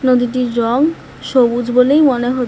নদীটির রং সবুজ বলেই মনে হ--